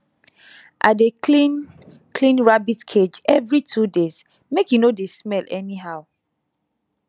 i dey clean clean rabbit cage every two days make e no dey smell anyhow